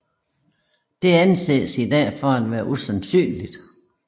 Det anses i dag for at være usandsynligt